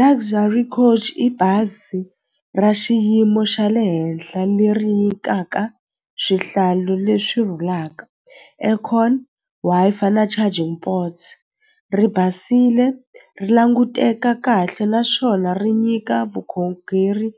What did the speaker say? Luxury Coach i bazi ra xiyimo xa le henhla leri nyikaka swihlalo leswi rhulaka, aircon, Wi-Fi na charging ri basile ri languteka kahle naswona ri nyika vukhongeri